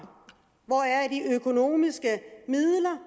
hvor er de økonomiske midler